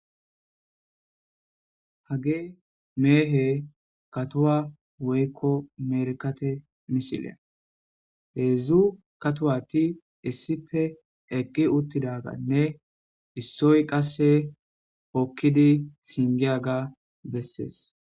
Hage meehe katuwa woykko merkate misileya heedzdzu katuwati issipe eqqi uttidaganne issoy qasse hokkidi singiyaga bessees.